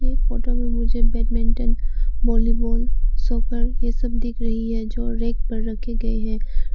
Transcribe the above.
ये फोटो में मुझे बैडमिंटन वॉलीबॉल सफर ये सब दिख रही है जो रैक पर रखी गई है।